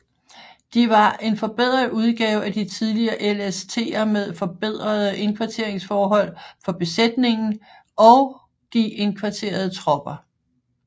De var en forbedret udgave af de tidligere LSTer med forbedrede indkvarteringsforhold for besætningen og og de indkvarterede tropper